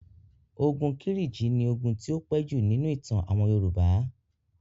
Ogun Kírìjí ni ogun tí ó pẹ́ jù nínú ìtàn àwọn Yorùbá.